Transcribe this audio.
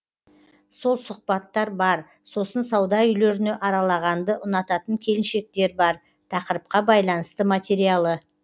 сол сұхбаттар бар сосын сауда үйлеріне аралағанды ұнататын келіншектер бар тақырыпқа байланысты материалы